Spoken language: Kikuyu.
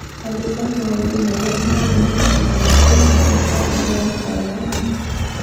Andĩka maũndũ marĩa mothe mekĩkaga thĩinĩ wa kalendarĩ yakwa ya Machi